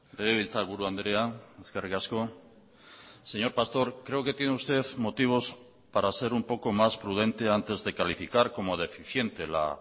legebiltzarburu andrea eskerrik asko señor pastor creo que tiene usted motivos para ser un poco más prudente antes de calificar como deficiente la